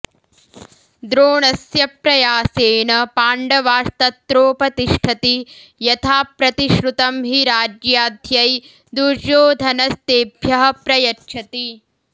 द्रोणस्य प्रयासेन पाण्डवास्तत्रोपतिष्ठति यथाप्रतिश्रुतं हि राज्याध्यै दुर्योधनस्तेभ्यः प्रयच्छति